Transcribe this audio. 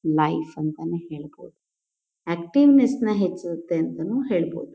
Life ಅಂತಾನೆ ಹೇಳ್ಬೋದು. Activeness ನ ಹೆಚ್ಚುತ್ತೆ ಅಂತಾನೂ ಹೇಳ್ಬೋದು.